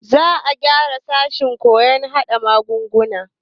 Za a gyara sashen koyon hada magunguna.